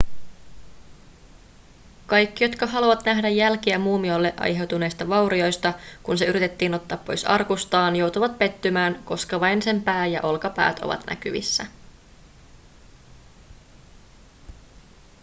kaikki jotka haluavat nähdä jälkiä muumiolle aiheutuneista vaurioista kun se yritettiin ottaa pois arkustaan joutuvat pettymään koska vain sen pää ja olkapäät ovat näkyvissä